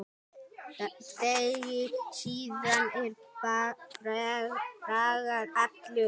Degi síðar var Bragi allur.